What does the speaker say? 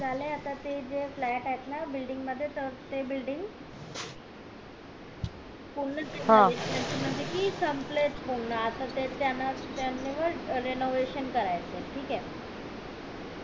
झालाय आता ते जे flat आहेत ना building मध्ये त ते building पूर्ण च हे झालेत कि संपलेत पूर्ण आता ते त्याना त्याना renovation करायचंय ठीक ये